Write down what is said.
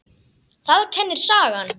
Það kennir sagan.